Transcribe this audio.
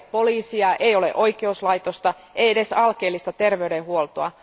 Ei ole poliisia, ei ole oikeuslaitosta, ei edes alkeellista terveydenhuoltoa.